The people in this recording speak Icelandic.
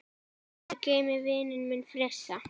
Guð geymi vininn minn Frissa.